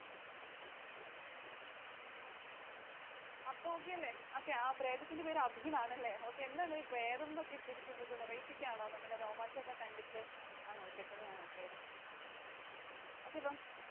അപ്പൊ Okay അല്ലെ. പ്രേതത്തിൻറെ പേര് Abhi ന്നുആണല്ലെ. Okay. എന്തായിത്? പ്രേതമെന്നൊക്കെ ഇട്ടിരിക്കുന്നത്? Variety ക്കാണോ നമ്മുടെ രോമാഞ്ചം ഒക്കെ കണ്ടിട്ട് ആണോ ഇട്ടേക്കുന്നതാണോ പ്രേതം? Okay അപ്പം.